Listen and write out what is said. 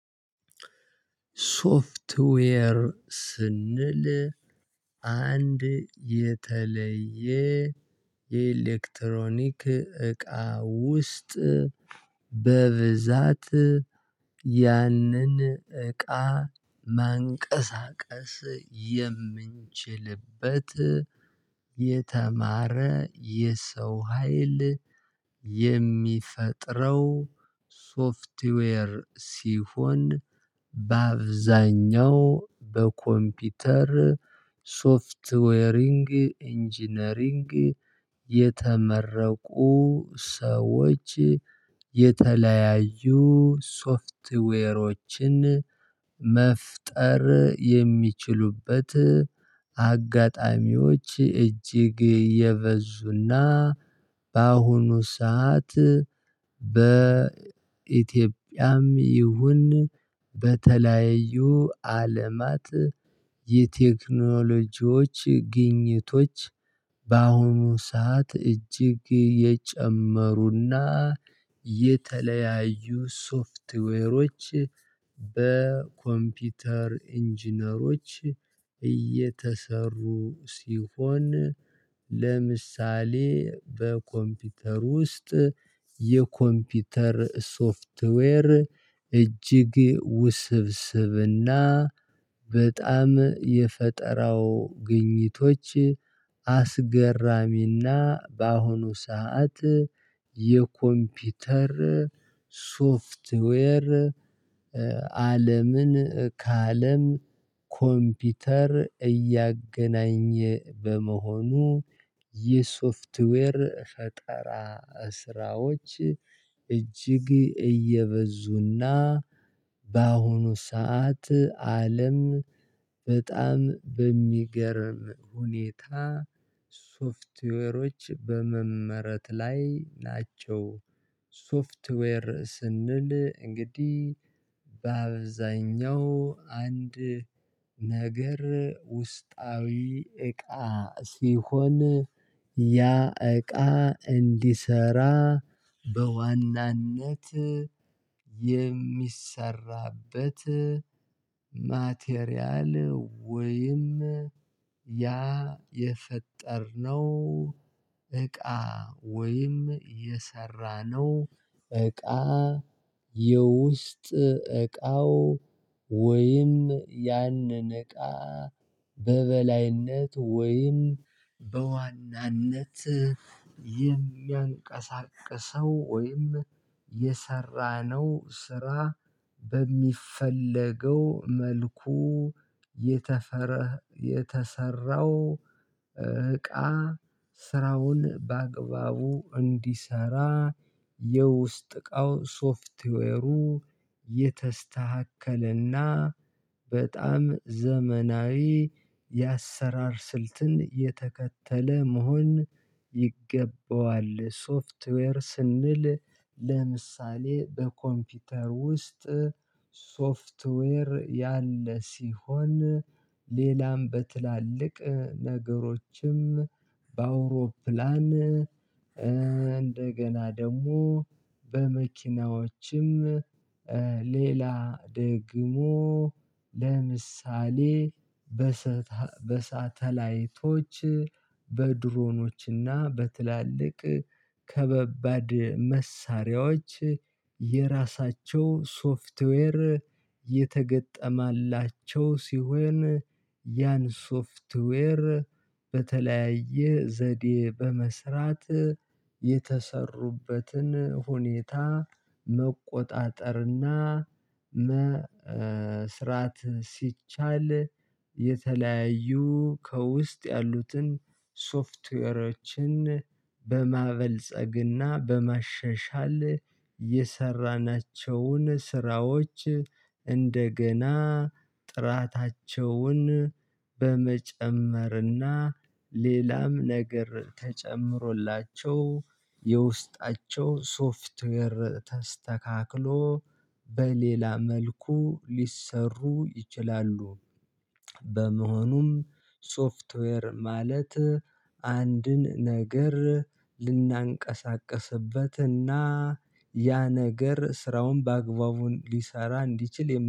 ሶፍትዌር ስንል አንድ የተለየ የኤሌክትሮኒክ እቃ ውስጥ በብዛት ያንን እቃ ማንቀሳቀስ የምንችልበት የተማረ የሰው ሀይል የሚፈጥረው ሶፍትዌር ሲሆን። በአብዛኛው በኮምፒውተር ሶፍትዌሪንግ ኢንጂነሪንግ የተመረቁ ሰዎች የተለያዩ ሶፍትዌሮችን መፍጠር የሚችሉበት አጋጣሚዎች እጅግ የበዙና በአሁኑ ሰዓት በኢትዮጵያም ይሁን በተለያዩ አለማት የቴክኖሎጂዎች ግኝቶች በአሁኑ ሰዓት እጅግ የጨመሩና የተለያዩ ሶፍትዌሮች በኮምፒውተር ኢንጂነሮች እየተሰሩ ሲሆን። ለምሳሌ በኮምፒውተር ውስጥ የኮምፒውተር ሶፍትዌር እጅግ ውስብስብና በጣም የፈጠራው ግኝቶች አስገራሚና በአሁኑ ሰዓት የኮምፒውተር ሶፍትዌር አለምን ከአለም ኮምፒውተር እያገናኘ በመሆኑ ይህ ሶፍትዌር ፈጣራ ስራዎች እጅግ እየበዙና በአሁኑ ሰዓት አለም በጣም በሚገርም ሁኔታ ሶፍትዌሮች በመመረት ላይ ናቸው። ሶፍትዌር ስንል እንግዲህ በአብዛኛው አንድ ነገር ውስጣዊ እቃ ሲሆን ያ እቃ እንዲሰራ በዋናነት የሚሰራበት ማቴሪያል ወይም ያ የፈጠርነው እቃ ወይም የሰራነው እቃ የውስጥ እቃው ወይም ያንን እቃ በበላይነት ወይም በዋናነት የሚያንቀሳቅሰው ወይም የሰራነው ስራ በሚፈለገው መልኩ የተፈረ የተሰራው እቃ ስራውን በአግባቡ እንዲሰራ የውስጥ እቃው ሶፍትዌሩ የተስተካከለና በጣም ዘመናዊ የአሰራር ስልትን የተከተለ መሆን ይገባዋል። ሶፍትዌር ስንል ለምሳሌ በኮምፒውተር ውስጥ ሶፍትዌር ያለ ሲሆን ሌላም በትላልቅ ነገሮችም በአውሮፕላን እንደገና ደግሞ በመኪናዎችም ሌላ ደግሞ ለምሳሌ በሳተላይቶች በድሮኖችና በትላልቅ ከባባድ መሳሪያዎች የራሳቸው ሶፍትዌር የተገጠማላቸው ሲሆን ያን ሶፍትዌር በተለያየ ዘዴ በመስራት የተሰሩበትን ሁኔታ መቆጣጠርና መስራት ሲቻል የተለያዩ ከውስጥ ያሉትን ሶፍትዌሮችን በማበልጸግና በመሸሻል የሰራናቸውን ስራዎች እንደገና ጥራታቸውን በመጨመርና ሌላም ነገር ተጨምሮላቸው የውስጣቸው ሶፍትዌር ተስተካክሎ በሌላ መልኩ ሊሰሩ ይችላሉ። በመሆኑም ሶፍትዌር ማለት አንድን ነገር ልናንቀሳቅስበትና አንቀሳቀስበትና ያ ነገር ስራውን በአግባቡን ሊሰራ እንዲችል